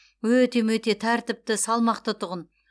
өте мөте тәртіпті салмақты тұғын